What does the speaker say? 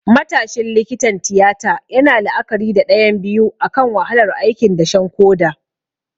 Matashin likitan tiyata yana la'akari da ɗayan biyu akan wahalar aikin dashen koda.